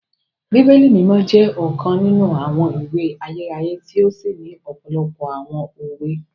Bíbélì Mimọ jẹ ọkan ninu awọn ìwé ayérayé ti o sí ni òpòlopò awọn òwe